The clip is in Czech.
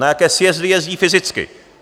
Na jaké sjezdy jezdí fyzicky.